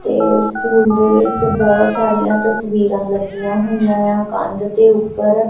ਇਹ ਸਕੂਲ ਦੇ ਵਿੱਚ ਬਹੁਤ ਸਾਰੀਆਂ ਤਸਵੀਰਾਂ ਲੱਗੀਆਂ ਹੋਈਆਂ ਏ ਆ ਕੰਧ ਦੇ ਉੱਪਰ।